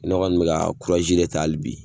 Ne kɔni be ka kurazi de ta ali bi